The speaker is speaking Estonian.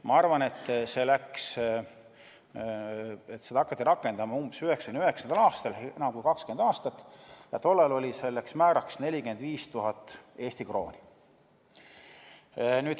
Ma arvan, et seda hakati rakendama umbes 1999. aastal, enam kui 20 aastat tagasi, ja tol ajal oli selleks määraks 45 000 Eesti krooni.